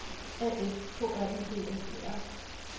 A F K R Y D S E R